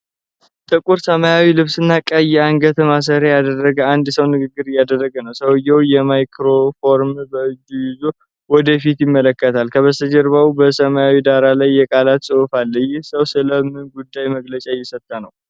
ጥቁር ሰማያዊ ልብስና ቀይ የአንገት ማሰሪያ ያደረገ አንድ ሰው ንግግር እያደረገ ነው። ሰውየው ማይክሮፎን በእጁ ይዞ ወደ ፊት ይመለከታል። ከበስተጀርባው በሰማያዊ ዳራ ላይ የቃላት ጽሑፍ አለ። ይህ ሰው ስለ ምን ጉዳይ መግለጫ እየሰጠ ነው?